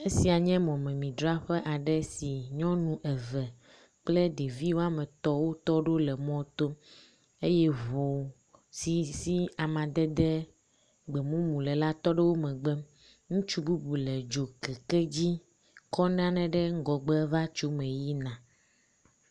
Esia nye mɔmemi dzraƒe aɖe si nyɔnu eve kple ɖevi woame etɔ̃ wotɔ ɖo le mɔto, eye ŋu si si amadede gbe mumu le la to ɖe womegbe, ŋutsu bubu le dzokeke dzi kɔ nane ɖe ŋgɔgbe va tso me yi na